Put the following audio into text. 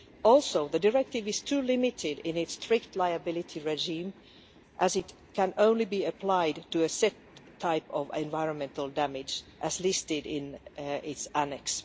Also, the directive is too limited in its strict liability regime as it can only be applied to a set type of environmental damage as listed in its annex.